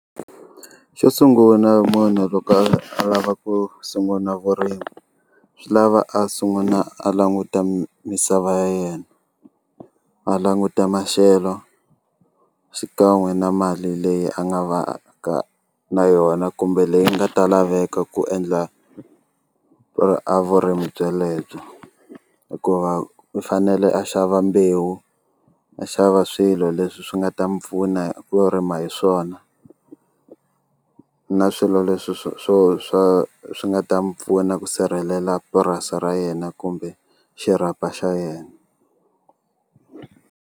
Xo sungula munhu loko a lava ku sungula vurimi swi lava a sungula a languta misava ya yena a languta maxelo xikan'we na mali leyi a nga va ka na yona kumbe leyi nga ta laveka ku endla a vurimi byelebyo hikuva u fanele a xava mbewu a xava swilo leswi swi nga ta mi pfuna ku rima hi swona na swilo leswi swo swo swa swi nga ta mi pfuna ku sirhelela purasi ra yena kumbe xirhapa xa yena.